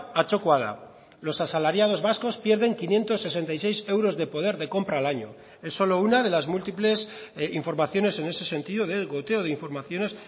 atzokoa da los asalariados vascos pierden quinientos sesenta y seis euros de poder de compra al año es solo una de las múltiples informaciones en ese sentido del goteo de informaciones